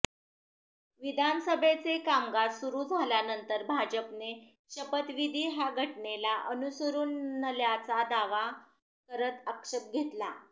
विधानसभेचे कामकाज सुरु झाल्यानंतर भाजपने शपथविधी हा घटनेला अनुसरून नल्याचा दावा करत आक्षेप घेतला